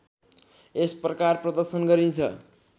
यस प्रकार प्रदर्शन गरिन्छ